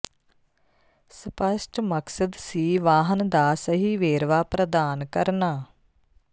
ਸਪੱਸ਼ਟ ਮਕਸਦ ਸੀ ਵਾਹਨ ਦਾ ਸਹੀ ਵੇਰਵਾ ਪ੍ਰਦਾਨ ਕਰਨਾ